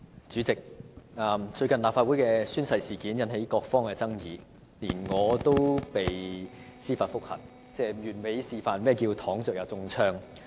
主席，最近的立法會宣誓事件引起各方爭議，連我也被司法覆核，完美示範何謂"躺着也中槍"。